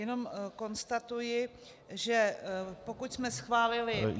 Jenom konstatuji, že pokud jsme schválili...